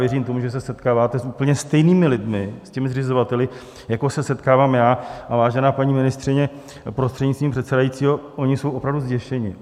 Věřím tomu, že se setkáváte s úplně stejnými lidmi, s těmi zřizovateli, jako se setkávám já, a, vážená paní ministryně, prostřednictvím předsedajícího, oni jsou opravdu zděšeni.